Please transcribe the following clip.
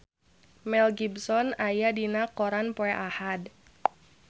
Mel Gibson aya dina koran poe Ahad